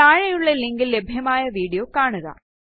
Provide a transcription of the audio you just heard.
താഴെയുള്ള ലിങ്കിൽ ലഭ്യമായ വീഡിയോ കാണുക